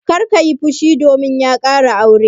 Kar ka yi fushi domin ya ƙara aure!